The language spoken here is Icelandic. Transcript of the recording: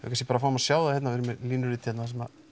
kannski bara fáum að sjá það hérna við erum með línurit hérna sem